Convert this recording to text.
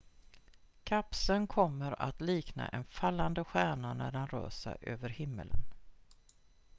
kapseln kommer att likna en fallande stjärna när den rör sig över himlen